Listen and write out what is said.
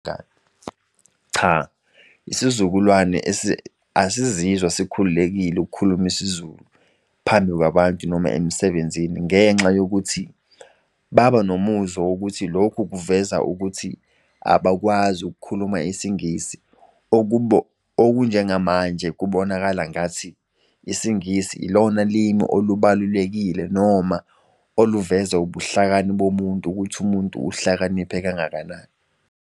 Cha, isizukulwane asizizwa sikhululekile ukukhuluma isiZulu phambi kwabantu noma emsebenzini ngenxa yokuthi baba nomuzwa wokuthi lokhu kuveza ukuthi abakwazi ukukhuluma isiNgisi. Okunjengamanje kubonakala angathi isiNgisi yilona limi olubalulekile noma oluveza ubuhlakani bomuntu ukuthi umuntu uhlakaniphe kangakanani.